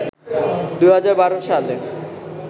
২০১২ সালে